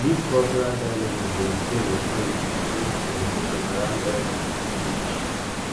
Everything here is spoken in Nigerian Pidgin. dis cultural dilemma dey ex ten d ex ten d to di growing conversation around lgbtq issues